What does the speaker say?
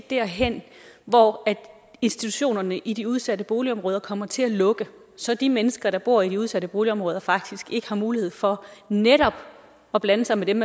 derhen hvor institutionerne i de udsatte boligområder kommer til at lukke så de mennesker der bor i de udsatte boligområder faktisk ikke har mulighed for netop at blande sig med dem